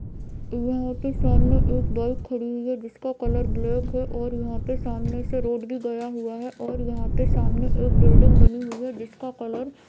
यह के सामने एक बाइक खड़ी हुयी है जिसका कलर ब्लैक है और यहा से रोड भी गया हुआ है और यहा सामने एक बिल्डिंग बनी हुई है जिसका कलर --